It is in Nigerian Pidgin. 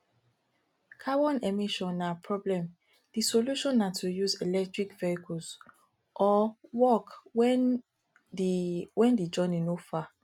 carbon emission na problem di solution na to use electric vehicles or walk when di when di journey no far